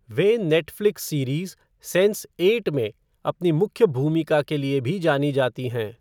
वे Netflix series Sense eight में अपनी मुख्य भूमिका के लिए भी जानी जाती हैं।